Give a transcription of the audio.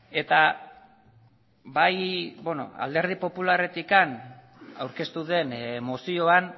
eta bai alderdi popularretik aurkeztu den mozioan